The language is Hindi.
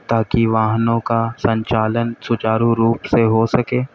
ताकि वाहनों का संचालन सुचारु रूप से हो सके।